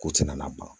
Ko ti na ban